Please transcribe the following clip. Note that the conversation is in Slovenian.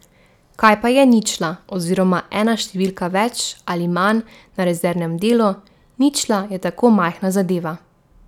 Kaj pa je ničla oziroma ena številka več ali manj na rezervnem delu, ničla je tako majhna zadeva.